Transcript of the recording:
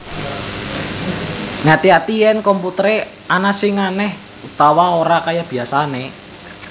Ngati ati yèn komputer ana sing anèh utawa ora kaya biasané